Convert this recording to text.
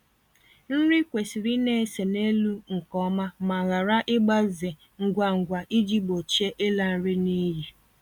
Nri kwesịrị ịna-ese n'elu nke ọma ma ghara ịgbaze ngwa ngwa iji gbochie ịla nri n'iyi